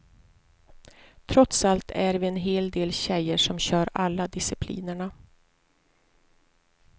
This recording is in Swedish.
Trots allt är vi en hel del tjejer som kör alla disciplinerna.